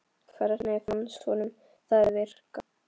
Hvernig fannst honum það virka?